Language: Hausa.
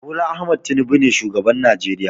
Bola Ahmed Tinubu ne shugaban Najeriya.